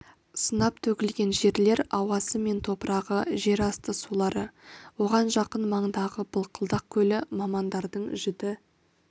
сынап төгілген жерлер ауасы мен топырағы жерасты сулары оған жақын маңдағы былқылдақ көлі мамандардың жіті